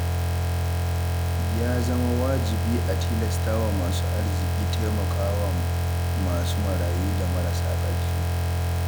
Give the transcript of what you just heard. Ya zama wajibi a tilastawa masu arziki taimakawa masu marayu da marasa ƙarfi